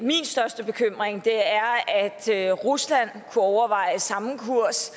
største bekymring er at rusland kunne overveje samme kurs